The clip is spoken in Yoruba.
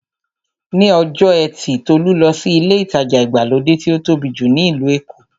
Ní ọjọ́ ẹtì Tolú lọ sí ilé ìtajà ìgbàlódé tí ó tóbi jù ní ìlú Èkó.